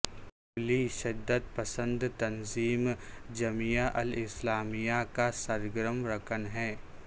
حنبلی شدت پسند تنظیم جمیعہ الاسلامیہ کا سرگرم رکن ہے